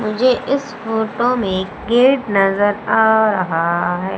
मुझे इस फोटो में गेट नजर आ रहा है।